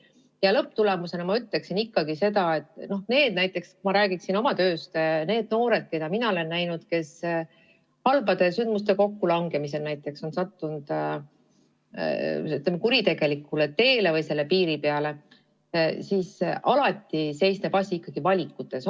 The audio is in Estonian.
Ja lõpptulemusena ma ütleksin ikkagi seda, et kui ma räägin oma tööst, siis nende noorte puhul, keda mina olen näinud ja kes näiteks halbade sündmuste kokkulangemisel on sattunud kuritegelikule teele või selle piiri peale, on alati asi seisnenud ikkagi valikutes.